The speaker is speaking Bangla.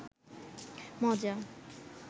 মজা